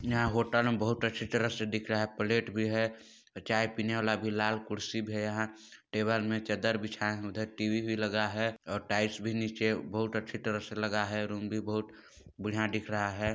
यह होटल में बहुत अच्छी तरह से दिख रखा है प्लेट भी है चाय पीने वाला भी लाल कुर्सी भी है यहाँ टेबल में चद्दर बिछा है उधर टी_वी भी लगा हैं और टाइल्स भी नीचे बहुत अच्छी तरह से लगा हैं रूम भी बहुत बढ़िया दिख रहा हैं।